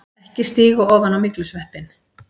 EKKI STÍGA OFAN Á MYGLUSVEPPINN!